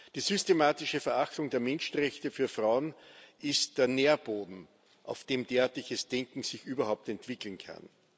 Die systematische Verachtung der Menschenrechte für Frauen ist der Nährboden, auf dem sich derartiges Denken überhaupt entwickeln kann.